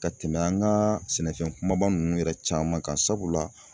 Ka tɛmɛ an ka sɛnɛfɛn kumaba ninnu yɛrɛ caman kan sabula